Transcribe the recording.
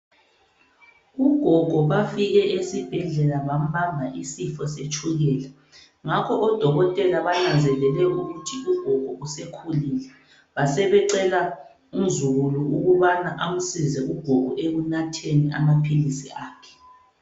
Ugogo bafike esebhedlela bambamba isifo setshukela, ngakho odokotela banazelele ukuthi ugogo usekhulile basebecela umzukulu ukuthi amsize ugogo ekunatheni amaphilisi akhe.